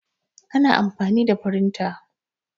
ana amfani da firinta